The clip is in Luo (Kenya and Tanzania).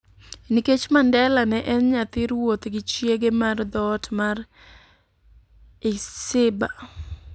Nikech Mandela ne en nyathi ruoth gi chiege mar dhoot mar Ixhiba,